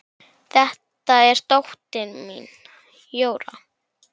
Þetta er dóttir mín, Jóra